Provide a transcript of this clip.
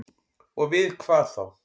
Og við hvað þá?